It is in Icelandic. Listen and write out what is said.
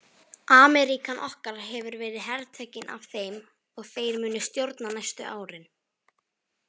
Ameríkan okkar hefur verið hertekin af Þeim og Þeir munu stjórna næstu árin.